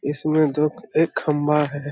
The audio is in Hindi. इस में दो एक खम्बा है।